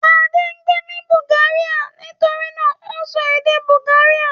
Adé ń gbé ní Bulgaria nitori náà ó ń sọ èdè Bulgaria.